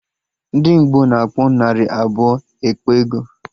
Ndị Ngbo na-akpọ narị abụọ ekpe ego